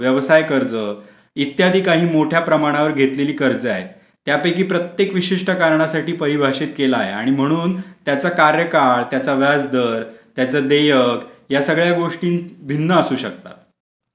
व्यवसाय कर्ज इत्यादी काही मोठ्या प्रमाणावर घेतलेली कर्ज आहे त्यापैकी प्रत्येक विशिष्ट कारणासाठी परिभाषित केला आहे आणि म्हणून त्याचा कार्यकाळ त्याचा व्याजदर त्याच देयक या सगळ्या गोष्टी भिन्न असू शकतात.